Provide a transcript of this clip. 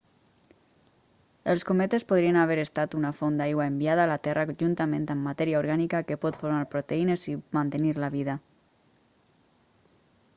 els cometes podrien haver estat una font d'aigua enviada a la terra juntament amb matèria orgànica que pot formar proteïnes i mantenir la vida